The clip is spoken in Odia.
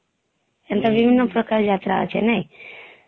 ହୁଁ ହୁଁ ଏମତା କେତେ ପ୍ରକାର ଯାତ୍ରା ଅଛି